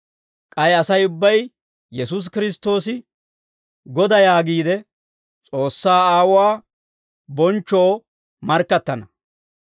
K'ay Asay ubbay Yesuusi Kiristtoosi Godaa yaagiide, S'oossaa Aawuwaa bonchchoo markkattana.